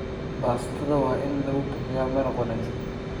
Baastada waa in lagu bixiyaa maraqa wanaagsan.